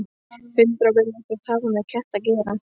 Hundar vilja ekkert hafa með ketti að gera.